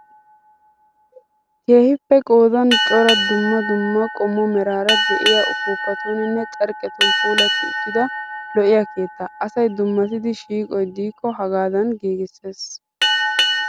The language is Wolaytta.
Keehippe qodan cora dummda dumma qommo meraara diyaa upuupatuuninne carqqetun puulatti uttida lo'iyaa keettaa. Asayi dummatida shiiqoyi diikko haagadan giigisses.